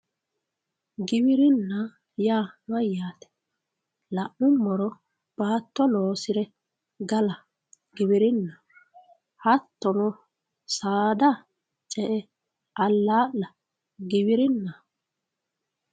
Giwirinna yaa mayyate la'nuummoro baatto loosire galla giwirinaho hattono saada ce'e alaala giwirinaho.